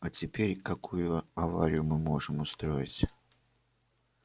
а теперь какую аварию мы можем устроить